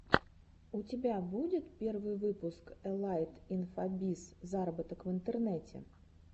у тебя будет первый выпуск элайт инфобиз зароботок в интернете